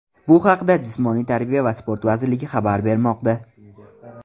Bu haqda Jismoniy tarbiya va sport vazirligi xabar bermoqda .